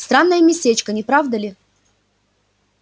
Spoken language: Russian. странное местечко не правда ли